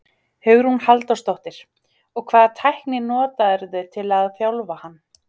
Hugrún Halldórsdóttir: Og hvaða tækni notarðu til að þjálfa hann?